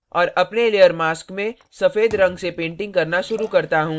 और अपने layer mask में सफ़ेद रंग से painting करना शुरू करता हूँ